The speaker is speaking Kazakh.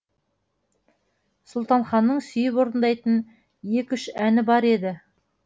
сұлтанханның сүйіп орындайтын екі үш әні бар еді